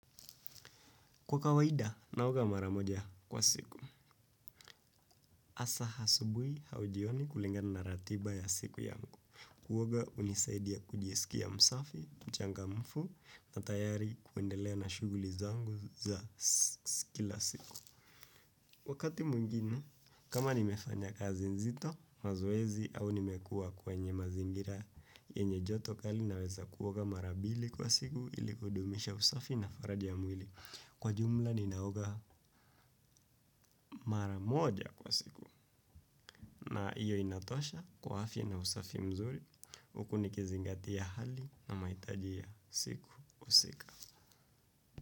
Kwa kawaida, naoga mara moja kwa siku. Hasa asubui au jioni kulingana na ratiba ya siku yangu. Kuoga hunisaidia kujisikia msafi, mchangamfu, na tayari kuendelea na shughuli zangu za kila siku. Wakati mwingine, kama nimefanya kazi nzito, mazoezi, au nimekua kwenye mazingira, yenye joto kali naweza kuoga mara mbili kwa siku ili kudumisha usafi na faraja ya mwili. Kwa jumla ninaoga mara moja kwa siku na hiyo inatosha kwa afya na usafi mzuri huku nikizingatia hali na mahitaji ya siku husika.